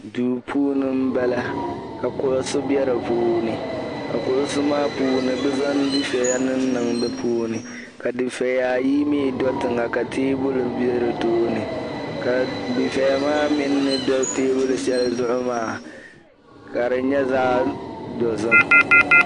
duu puuni m-bala ka kuɣisi be di puuni ka kuɣisi maa puuni bɛ zaŋ difiɛya niŋniŋ di puuni ka difiɛya ayi mi do yiŋa ka teebuli be di tooni ka difiɛya maa mi ni do teebuli shɛli zuɣu maa ka di nyɛ zaɣ' dozim